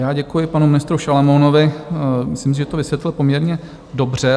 Já děkuji panu ministru Šalomounovi, myslím, že to vysvětlil poměrně dobře.